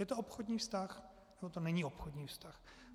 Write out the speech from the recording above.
Je to obchodní vztah, nebo to není obchodní vztah?